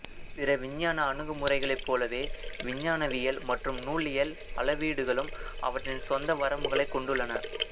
பிற விஞ்ஞான அணுகுமுறைகளைப் போலவே விஞ்ஞானவியல் மற்றும் நூலியல் அளவீடுகளும் அவற்றின் சொந்த வரம்புகளைக் கொண்டுள்ளன